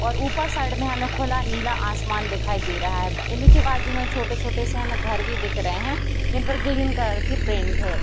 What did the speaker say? और ऊपर साइड में हमे खुला नीला आसमान दिखाई दे रहा है इनके बाजु मे छोटे-छोटे से हमे घर भी दिख रहे हैं जिनपर गिलीन कलर की पेंट है।